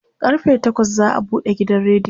karfe takwas za'a buɗe gidan rediyon